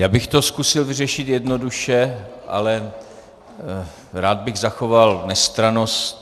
Já bych to zkusil vyřešit jednoduše, ale rád bych zachoval nestrannost.